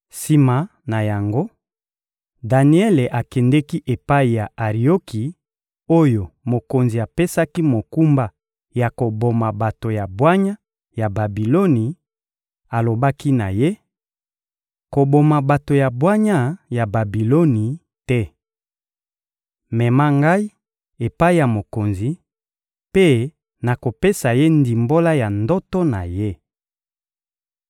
Sima na yango, Daniele akendeki epai ya Arioki oyo mokonzi apesaki mokumba ya koboma bato ya bwanya ya Babiloni; alobaki na ye: — Koboma bato ya bwanya ya Babiloni te! Mema ngai epai ya mokonzi, mpe nakopesa ye ndimbola ya ndoto na ye.